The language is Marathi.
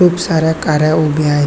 खूप साऱ्या काऱ्या उभ्या आहेत.